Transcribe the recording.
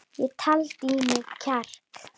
Ég taldi í mig kjark.